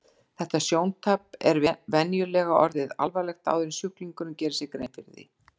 Þetta sjóntap er venjulega orðið alvarlegt áður en sjúklingurinn gerir sér grein fyrir því.